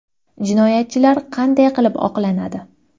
Jinoyatchilar qanday qilib oqlanadi?